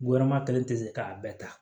Wɛrɛma kelen tɛ se k'a bɛɛ ta